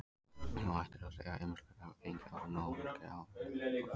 Óhætt er að segja að ýmislegt hafi gengið á og margir áhugaverðir leikir fóru fram.